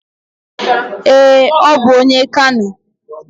Ee, ọ bụ onye Kano